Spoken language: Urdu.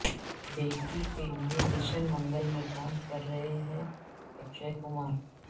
بیٹی کےلئے مشن منگل میں کام کررہے ہیں اکشے کمار